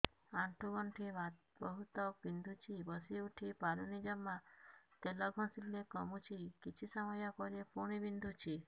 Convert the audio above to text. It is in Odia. ଆଣ୍ଠୁଗଣ୍ଠି ବହୁତ ବିନ୍ଧୁଛି ବସିଉଠି ପାରୁନି ଜମା ତେଲ ଘଷିଲେ କମୁଛି କିଛି ସମୟ ପରେ ପୁଣି ବିନ୍ଧୁଛି